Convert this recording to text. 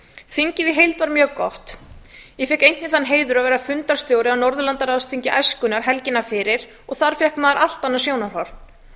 þingið í heild var mjög gott ég fékk einnig þann heiður að vera fundarstjóri á norðurlandaráðsþingi æskunnar helgina fyrir og þar fékk maður allt annað sjónarhorn